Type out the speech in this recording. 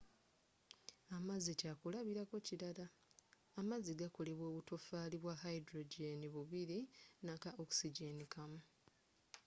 amazzi kyakulabirako kirala amazzi gakolebwa obutofaali bwa hydrogen bubiri naka oxygen kamu